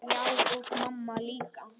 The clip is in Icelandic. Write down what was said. Já, og mamma líka.